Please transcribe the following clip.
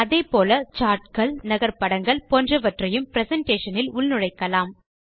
அதே போல் சார்ட்கள் நகர் படங்கள் போன்றவற்றையும் பிரசன்டேஷன் இல் உள்நுழைக்கலாம்